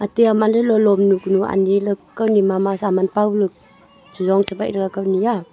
tia man dolo lomnu kunu anyi ley kani mama saman paola cheyong chebaih kaw nyi a.